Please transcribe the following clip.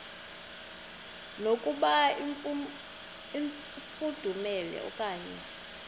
yokuba ifudumele okanye